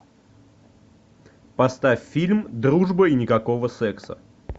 поставь фильм дружба и никакого секса